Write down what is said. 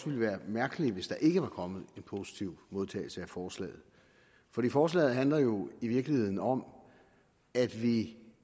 ville være mærkeligt hvis der ikke var kommet en positiv modtagelse af forslaget for forslaget handler jo i virkeligheden om at vi